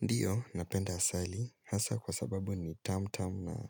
Ndio, napenda asali hasa kwa sababu ni tamtam na